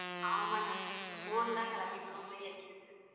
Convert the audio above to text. ஆமா அண்ணா இந்த phone தான் அண்ணா எல்லாத்தையும் சோம்பேறிய ஆகிடுச்சு.